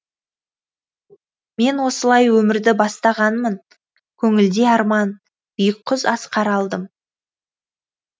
мен осылай өмірді бастағанмын көңілде арман биік құз асқар алдым